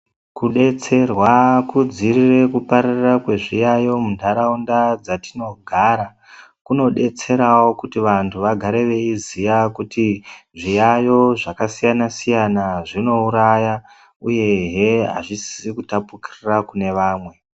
Kudetserwa kudziirire kupararira kwezviyaiyo munharaunda dzatinogara, kunodetserawo kuti vantu vagare veiziya kuti ,zviyaiyo zvakasiyana-siyana zvinouraya ,uyehe azvisisi kutapukirira kune vamwe.